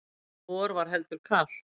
vor var heldur kalt